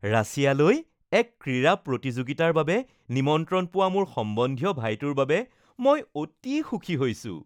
ৰাছিয়ালৈ এক ক্ৰীড়া প্ৰতিযোগিতাৰ বাবে নিমন্ত্ৰণ পোৱা মোৰ সম্বন্ধীয় ভাইটোৰ বাবে মই অতি সুখী হৈছো